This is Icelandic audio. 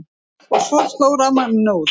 Og svo sló rafmagninu út.